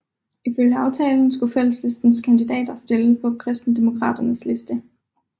Ifølge aftalen skulle Fælleslistens kandidater opstille på Kristendemokraternes liste